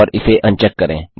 और इसे अनचेक करें